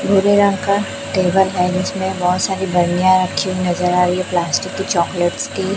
भुरे रंग का टेबल है जिसमें बहुत सारी घड़ियां रखी हुई नजर आ रही हैं प्लास्टिक के चॉकलेट्स के--